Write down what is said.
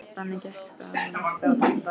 Þannig gekk það næsta og næsta dag.